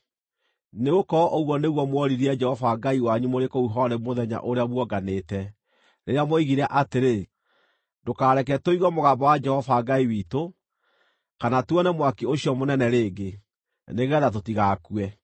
Nĩgũkorwo ũguo nĩguo mworirie Jehova Ngai wanyu mũrĩ kũu Horebu mũthenya ũrĩa muonganĩte, rĩrĩa mwoigire atĩrĩ, “Ndũkareke tũigue mũgambo wa Jehova Ngai witũ, kana tuone mwaki ũcio mũnene rĩngĩ, nĩgeetha tũtigakue.”